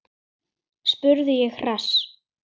spurði ég hress.